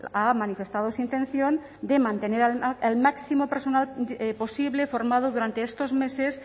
ha manifestado su intención de mantener el máximo personal posible formado durante estos meses